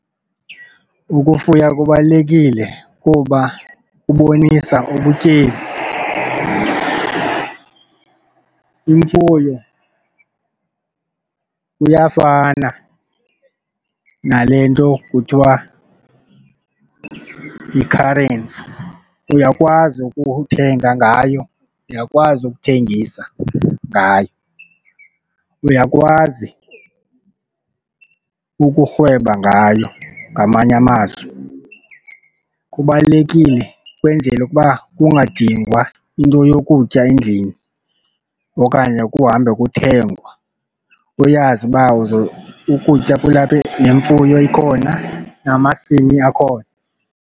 Ukufuya kubalulekile kuba kubonisa ubutyebi. Imfuyo kuyafana nale nto kuthiwa yi-currency. Uyakwazi ukuthenga ngayo, uyakwazi ukuthengisa ngayo, uyakwazi ukurhweba ngayo ngamanye amazwi. Kubalulekile ukwenzela ukuba kungadingwa into yokutya endlini okanye ukuhambe kuthengwa uyazi uba ukutya kulapha nemfuyo ikhona namasimi akhona.